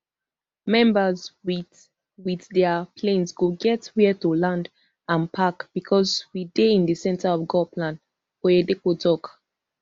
members wit wit dia planes go get wia to land and park becos we dey in di centre of god plan oyedepo tok